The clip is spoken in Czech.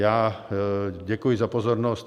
Já děkuji za pozornost.